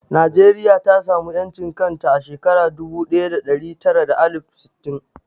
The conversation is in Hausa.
Najeriya ta samu ƴancin kanta a shekara dubu ɗaya da ɗari tara da alif sittin